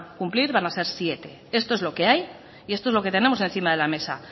cumplir van a ser siete esto es lo que hay y esto es lo que tenemos encima de la mesa